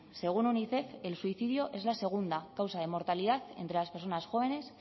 según unicef el suicidio es la segunda causa de mortalidad entre las personas jóvenes